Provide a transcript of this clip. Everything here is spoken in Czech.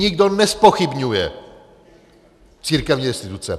Nikdo nezpochybňuje církevní restituce.